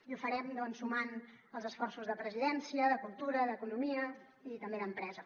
i ho farem doncs sumant els esforços de presidència de cultura d’economia i també d’empresa